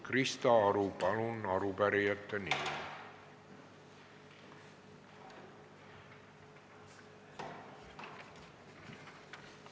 Krista Aru, palun arupärijate nimel!